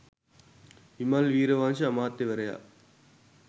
විමල් වීරවංශ අමාත්‍යවරයා